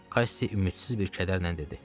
Qassi ümidsiz bir kədərlə dedi.